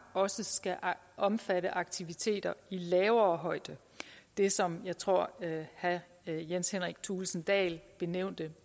også skal omfatte aktiviteter i lavere højde det som jeg tror herre jens henrik thulesen dahl benævnte